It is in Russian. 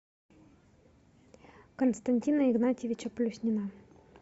константина игнатьевича плюснина